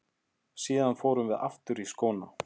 Síðan förum við aftur í skóna.